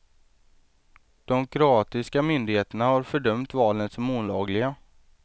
De kroatiska myndigheterna har fördömt valen som olagliga.